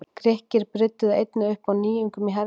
Grikkir brydduðu einnig upp á nýjungum í hernaði.